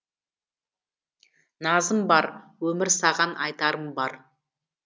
назым бар өмір саған айтарым бар